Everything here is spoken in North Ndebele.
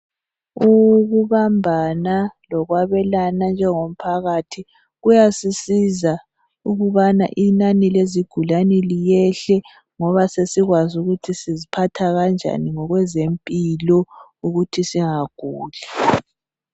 Ukubambana lokwabelana njengomphakathi kuyasisiza ukubana inani lezigulane liyehle ngoba sesikwazi ukuthi siziphatha kanjani njengomphakathi. Ukuthi singaguli.